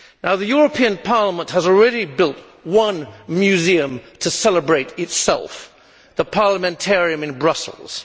The European Parliament has already built one museum to celebrate itself the Parliamentarium in Brussels.